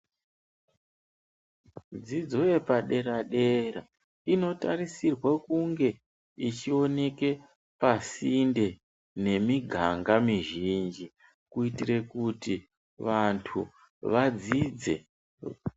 Dzolidzo yepadera dera, inotarisirwa kunge ichioneke pasinde nemiganga mizhinji, kuitire kuti vantu vadzidze.